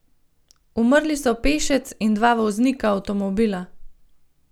Umrli so pešec in dva voznika avtomobila.